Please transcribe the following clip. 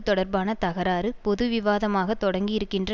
தொடர்பான தகராறு பொது விவாதமாக தொடங்கியிருக்கின்ற